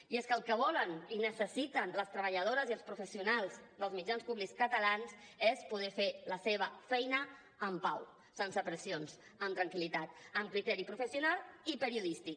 i és que el que volen i necessiten les treballadores i els professionals dels mitjans públics catalans és poder fer la seva feina en pau sense pressions amb tranquil·litat amb criteri professional i periodístic